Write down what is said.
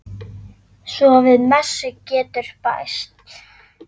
Svo við messu getur bæst.